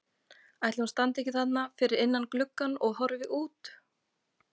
Ætli hún standi ekki þarna fyrir innan gluggann og horfi út?